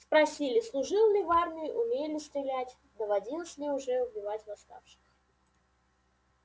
спросили служил ли в армии умею ли стрелять доводилось ли уже убивать восставших